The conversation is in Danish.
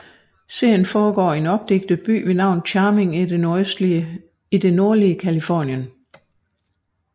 Serien foregår i en opdigtet by ved navn Charming i det nordlige Californien